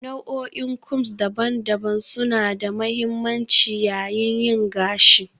Nau'o'in combs daban-daban suna da mahimmanci yayin yin gashi